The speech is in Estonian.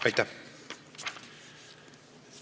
Aitäh!